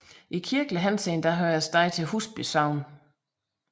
I kirkelig henseende hører stedet til Husby Sogn